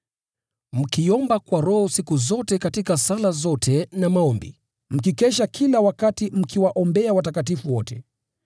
Mkiomba kwa Roho siku zote katika sala zote na maombi, mkikesha kila wakati mkiwaombea watakatifu wote.